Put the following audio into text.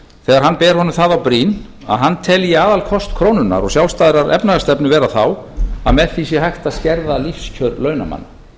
þegar hann ber honum það á brýn að hann telji aðalkost krónunnar og sjálfstæðrar efnahagsstefnu vera þá að með því sé hægt að skerða lífskjör launamanna